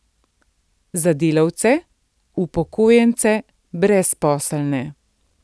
Za delavce, upokojence, brezposelne.